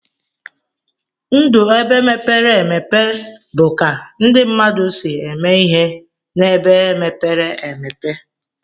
Ndụ ebe mepere emepe bu ka ndi mmadụ si eme ihe na ebe mepere emepe.